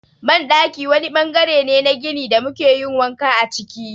Banɗaki wani ɓangare ne na gini da muke yin wanka a ciki.